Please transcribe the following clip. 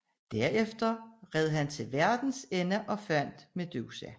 Derefter red han til verdens ende og fandt Medusa